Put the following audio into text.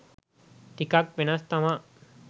ටිකක් වෙනස් තමා